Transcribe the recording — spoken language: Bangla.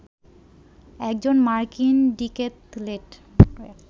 একজন মার্কিন ডিক্যাথলেট